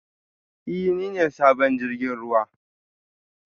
Ee, ni ne sabon jirgin ruwa